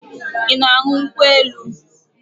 I na-aṅụ nkwụ elu?